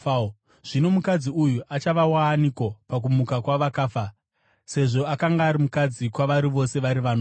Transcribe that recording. Zvino mukadzi uyu achava waaniko pakumuka kwavakafa sezvo akanga ari mukadzi kwavari vose vari vanomwe?”